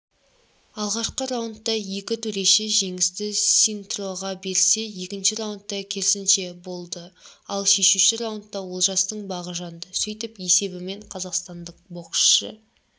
алғашқы раундта екі төреші жеңісті синтроға берсе екінші раундта керісінше болды ал шешуші раундта олжастың бағы жанды сөйтіп есебімен қазақстандық боксшы